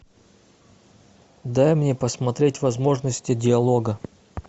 дай мне посмотреть возможности диалога